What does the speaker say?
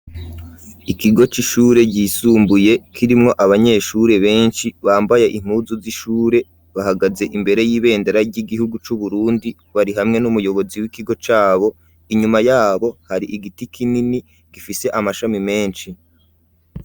Ikigo c'ishure ryisumbuye kirimwo abanyeshure benshi bambaye inpuzu z'ishure bahagaze imbere y'ibendera ry'igihugu c'Uburundi bari hamwe n'umuyobozi w'ikigo cabo inyuma yabo hari igiti kinini gifise amashami menshi.